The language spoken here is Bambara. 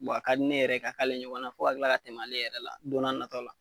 a ka di ne yɛrɛ ka kale ɲɔgɔn na ,fo ka kila ka tɛmɛ ale yɛrɛ la don na natɔw la.